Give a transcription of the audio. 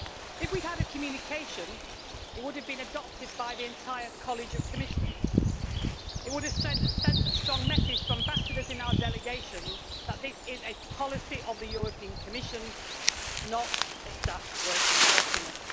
If we had had a communication, it would have been adopted by the entire College of Commissioners it would have sent a strong message to ambassadors in our delegations that this is a policy of the European Commission, not a staff working document.